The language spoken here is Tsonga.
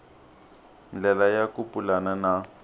ndlela ya ku pulana na